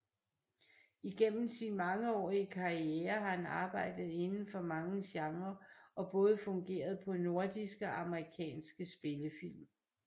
Igennem sin mangeårige karriere har han arbejdet indenfor mange genrer og både fungeret på nordiske og amerikanske spillefilm